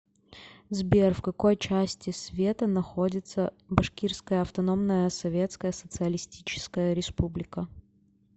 сбер в какой части света находится башкирская автономная советская социалистическая республика